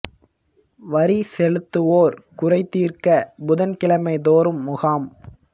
வரி செலுத்துவோர் குறை தீர்க்க புதன் கிழமை தோறும் முகாம்